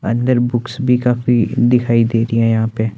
अंदर बुक्स भी काफी दिखाई दे रही है यहां पे--